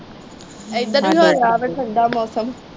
ਇਧਰ ਵੀ ਹੋਇਆ ਵਾ ਠੰਡਾ ਮੌਸਮ।